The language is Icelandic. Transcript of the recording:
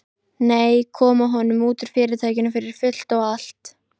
Nei, koma honum út úr Fyrirtækinu fyrir fullt og allt.